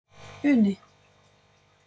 Uni